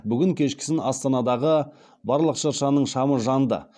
бүгін кешкісін астанадағы барлық шыршаның шамы жанды